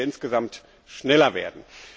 Da müssen wir insgesamt schneller werden.